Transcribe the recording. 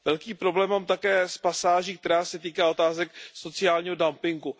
Velký problém mám také s pasáží, která se týká otázek sociálního dumpingu.